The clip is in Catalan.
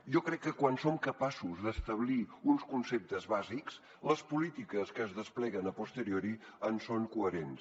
jo crec que quan som capaços d’establir uns conceptes bàsics les polítiques que es despleguen a posteriori en són coherents